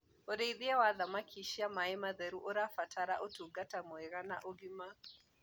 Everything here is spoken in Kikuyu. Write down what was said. ũrĩithi wa thamakĩ cia maĩ matheru ũrabatara utungata mwega wa ũgima